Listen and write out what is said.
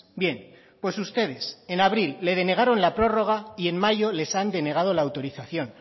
bien pues ustedes en abril le denegaron la prórroga y en mayo les han denegado la autorización